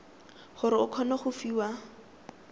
gore o kgone go fiwa